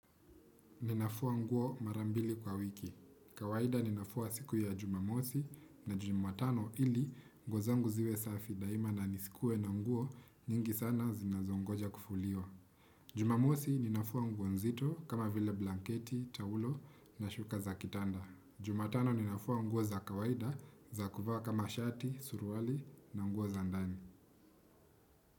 Ninafua nguo marambili kwa wiki. Kawaida ninafua siku ya jumamosi na jumatano ili nguo zangu ziwe safi daima na nisikue na nguo nyingi sana zinazongoja kufuliwa. Jumamosi ninafua nguo nzito kama vile blanketi, taulo na shuka za kitanda. Jumatano ninafua nguo za kawaida za kuvaa kama shati, suruali na nguo za ndani.